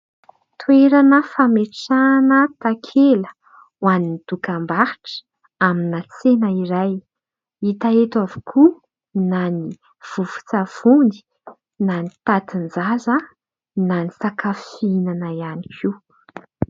Toerana fametrahana takela ho an'ny dokam-barotra amina tsena iray. Hita eto avokoa na ny vovo-tsavony na ny tantin-jaza na ny sakafo fihinana ihany koa.